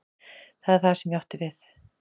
Það var það sem ég átti við.